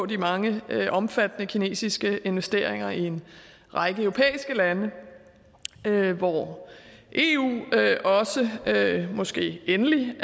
de mange omfattende kinesiske investeringer i en række europæiske lande hvor eu måske endelig